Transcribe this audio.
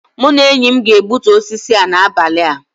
Mụ na enyi m ga-egbutu osisi a n'abalị a